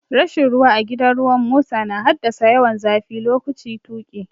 Rashin ruwa a gidan ruwan mota na haddasa yawan zafi lokaci tuƙi.